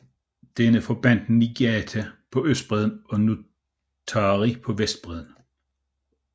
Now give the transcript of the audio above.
Denne forbandt Niigata på østbredden og Nuttari på vestbredden